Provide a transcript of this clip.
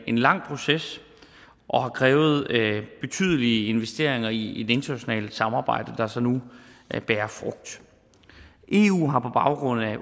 en lang proces og har krævet betydelige investeringer i et internationalt samarbejde der altså så nu bærer frugt eu har på baggrund af